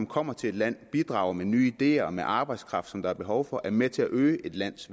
kommer til et land bidrager med nye ideer og med arbejdskraft som der er behov for er med til at øge et lands